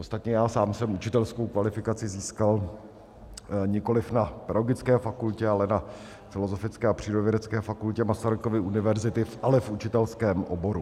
Ostatně já sám jsem učitelskou kvalifikaci získal nikoli na Pedagogické fakultě, ale na Filozofické a Přírodovědecké fakultě Masarykovy univerzity, ale v učitelském oboru.